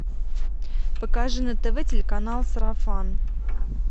покажи на тв телеканал сарафан